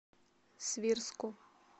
свирску